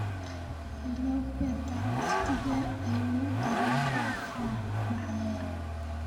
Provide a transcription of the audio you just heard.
hello peter waqtigee ayuu tareenka afraad baxayaa